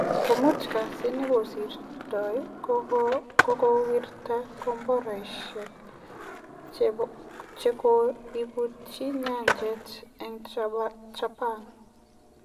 Komut kasi negosirtoi kogowirta komboraisyek chekoibutyi nyanjet eng chaban